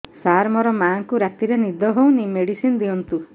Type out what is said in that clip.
ସାର ମୋର ମାଆଙ୍କୁ ରାତିରେ ନିଦ ହଉନି ମେଡିସିନ ଦିଅନ୍ତୁ